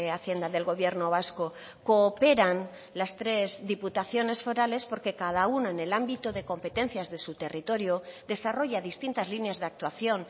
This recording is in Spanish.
hacienda del gobierno vasco cooperan las tres diputaciones forales porque cada una en el ámbito de competencias de su territorio desarrolla distintas líneas de actuación